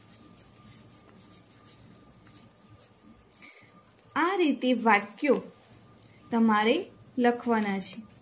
આ રીતે વાક્યો તમારે લખવાના છે.